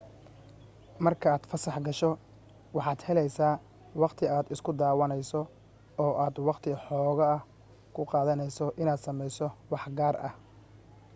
markii aad fasax gasho waxaad helaysaa waqti aad isku daawaynayso oo aad waqti xoogaa ah ku qaadanayso inaad samayso wax gaar ah